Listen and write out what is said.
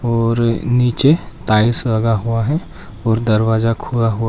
और नीचे टाइल्स लगा हुआ है और दरवाजा खुला हुआ--